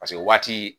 Paseke o waati